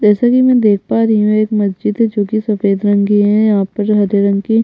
जैसे की मै देख पा रही हूँ एक मस्जिद है जो कि सफ़ेद रंग की है यहाँ पर हरे रंग की--